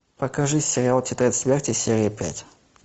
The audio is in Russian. покажи сериал тетрадь смерти серия пять